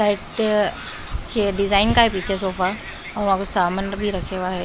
Side ये design का है पीछे सोफा और वहां कुछ सामान भी रखे हुआ है।